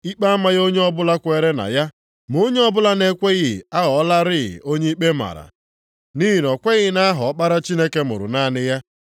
Ikpe amaghị onye ọbụla kwere na ya, ma onye ọbụla na-ekweghị aghọọlarị onye ikpe mara, nʼihi na o kweghị nʼaha Ọkpara Chineke mụrụ naanị ya.